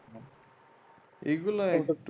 এগুলা একটু